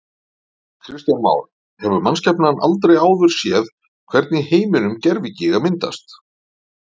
Kristján Már: Hefur mannskepnan aldrei áður séð, hvergi í heiminum, gervigíga myndast?